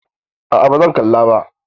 A'a ba zan kalla ba.